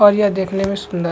और यह देखने में सुंदर --